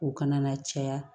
O kana na caya